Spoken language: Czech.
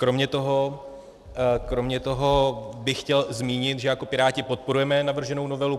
Kromě toho bych chtěl zmínit, že jako Piráti podporujeme navrženou novelu.